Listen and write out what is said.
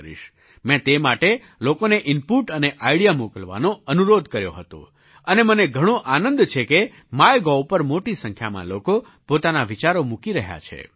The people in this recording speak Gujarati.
મેં તે માટે લોકોને ઇનપૂટ અને આઇડિયા મોકલવાનો અનુરોધ કર્યો હતો અને મને ઘણો આનંદ છે કે માયગોવ પર મોટી સંખ્યામાં લોકો પોતાના વિચારો મૂકી રહ્યા છે